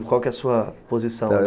E qual que é a sua posição?